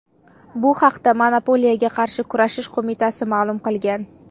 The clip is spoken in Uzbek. Bu haqda Monopoliyaga qarshi kurashish qo‘mitasi ma’lum qilgan .